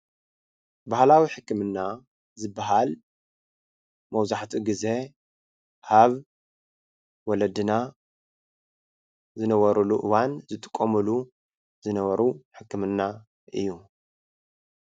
ባህላዊ ሕክምና ዝብሃል መብዛሕትኡ ግዜ ኣብ ወለድና ዝነበርሉ እዋን ዝጥቀምሉ ዝነበሩ ሕክምና እዩ።